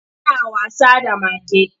Suna wasa da mage.